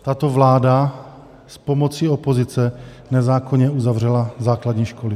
Tato vláda s pomocí opozice nezákonně uzavřela základní školy.